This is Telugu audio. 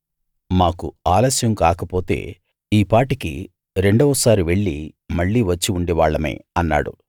మాకు ఆలస్యం కాకపోతే ఈపాటికి రెండవ సారి వెళ్లి మళ్ళీ వచ్చి ఉండేవాళ్ళమే అన్నాడు